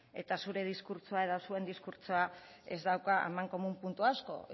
eta zure diskurtsoa edo zuen diskurtsoa ez daukala puntu amankomun puntu asko